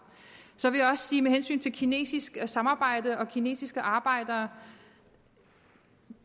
så vil jeg også sige med hensyn til kinesisk samarbejde og kinesiske arbejdere at